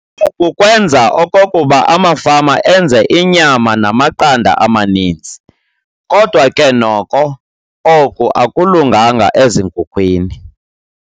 Oku kwenza okokuba amafama enze inyama namaqanda amaninzi, kodwa ke noko oku akulunganga ezinkukhwini.